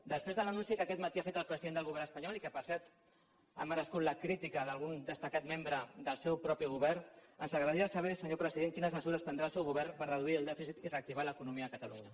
després de l’anunci que aquest matí ha fet el president del govern espanyol i que per cert ha merescut la crítica d’algun destacat membre del seu propi govern ens agradaria saber senyor president quines mesures prendrà el seu govern per reduir el dèficit i reactivar l’economia a catalunya